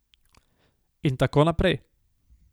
In tako naprej.